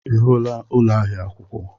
Ị hụla ụlọ ahịa akwụkwọ?